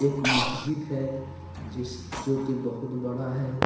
एक महजिद है जिस जो कि बहुत बड़ा है।